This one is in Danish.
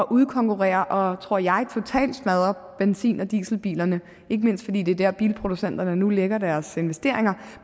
udkonkurrere og tror jeg totalt smadre benzin og dieselbilerne ikke mindst fordi det er der bilproducenterne nu lægger deres investeringer